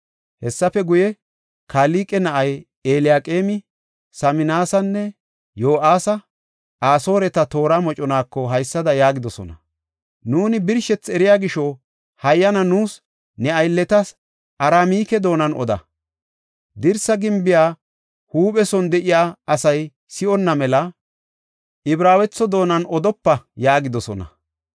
Hessafe guye, Kalqe na7ay Elyaqeemi, Saminasinne Yo7aasi Asooreta toora moconaako haysada yaagidosona; “Nuuni birshethi eriya gisho, hayyana nuus ne aylletas Aramike doonan oda. Dirsa gimbiya huuphe son de7iya asay si7onna mela, Ibraawetho doonan odopa” yaagidosona.